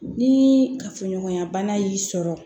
Ni kafoɲɔgɔnya bana y'i sɔrɔ